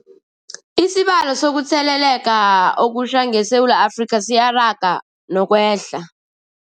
Isibalo sokuthele leka okutjha ngeSewula Afrika siyaraga nokwehla.